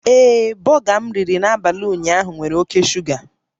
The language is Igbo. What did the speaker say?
Ee, bọga m riri n'abalị ụnyaahụ nwere oke shuga